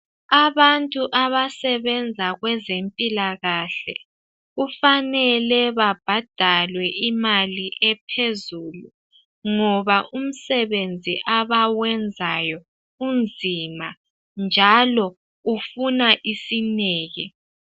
Abantu abasebenza kwezempilakahle kufanele babhadalwe imali ephezulu ngoba umsebenzi abawenzayo unzima njalo ufuna isineke.